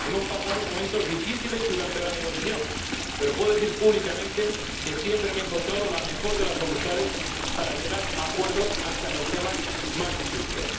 Hemos pasado momentos difíciles durante la negociación, pero puedo decir públicamente que siempre me he encontrado la mejor de las voluntades para llegar a acuerdos hasta en los temas más difíciles.